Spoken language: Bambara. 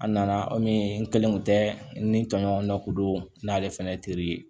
A nana kɔmi n kelen kun tɛ n tɔɲɔgɔn dɔ kun don n'ale fɛnɛ teri ye